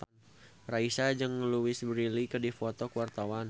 Raisa jeung Louise Brealey keur dipoto ku wartawan